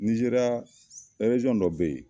Nizeriya dɔ bɛ yen